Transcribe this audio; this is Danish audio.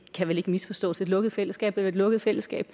kan vel ikke misforstås et lukket fællesskab er vel et lukket fællesskab